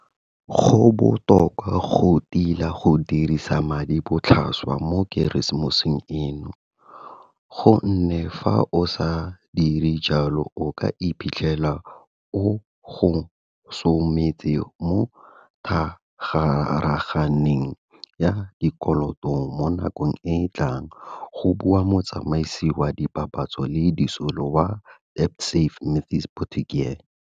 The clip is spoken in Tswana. Go botoka go tila go dirisa madi botlhaswa mo Keresemoseng eno, go nne fa o sa dire jalo o ka iphitlhela o gosometse mo thagarageng ya dikoloto mo nakong e tlang, go bua motsamaisi wa dipapatso le disolo wa DebtSafe Matthys Potgieter.